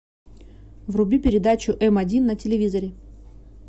вруби передачу м один на телевизоре